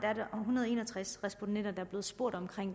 hundrede og en og tres respondenter der er blevet spurgt